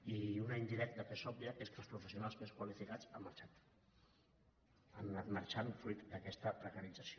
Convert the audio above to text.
i una d’indirecta que és òbvia que és que els professionals més qualificats han marxat han anat marxant fruit d’aquesta precarització